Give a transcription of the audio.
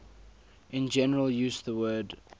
in general use the word